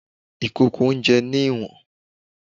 Ìkòkò oúnjẹ ní ìwọ̀n.